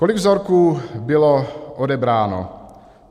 Kolik vzorků bylo odebráno?